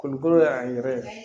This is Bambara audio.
Kolokolo y'an yɛrɛ ye